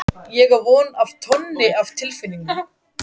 Ég á von á tonni af tilfinningum.